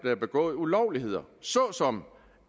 er begået ulovligheder såsom